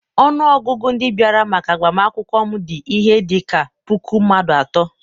ọnụ ọgụgụ ndị bịara maka agbamakwụkwọ m dị ihe dị ka puku mmadụ atọ.